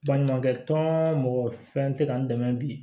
Baɲumankɛ tɔn mɔgɔ fɛn tɛ ka n dɛmɛ bi